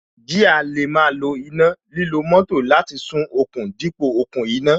Jíà lè máa lo iná, lílo moto láti sún okùn dípò okùn iná